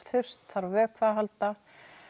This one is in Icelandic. þurrt þarf á vökva að halda